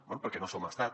bé perquè no som estat